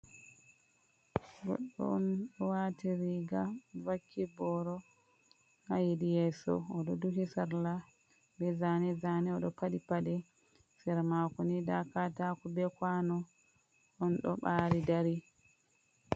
Goɗɗo on ɗo waati riiga, vakki booro ha hedi yeeso, o ɗo duhi sarla, be zaane-zaane, o ɗo paɗi paɗe. Sera maako ni ndaa kataako, be kwaano on ɗo ɓaari dari.